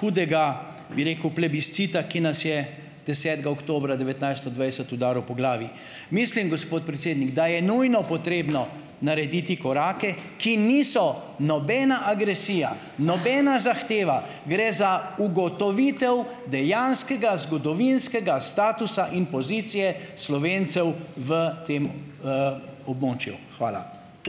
hudega, bi rekel, plebiscita, ki nas je desetega oktobra devetnajststo dvajset udaril po glavi. Mislim, gospod predsednik, da je nujno potrebno narediti korake, ki niso nobena agresija, nobena zahteva , gre za ugotovitev dejanskega zgodovinskega statusa in pozicije Slovencev v tem, območju. Hvala.